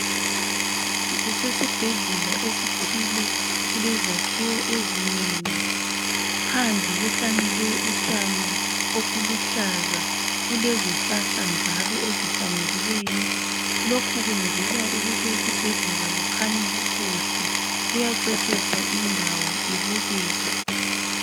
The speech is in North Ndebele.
Kusesibhedlela esithile kule zakhiwo ezinengi phandla kuhlanyelwe utshani obuluhlaza kulezi hlahla njalo ezihlanyelweyo lokhu kwenzelwa ukuthi esibhedlela kukhanya kukuhle kuyaceciswa indawo ibukeke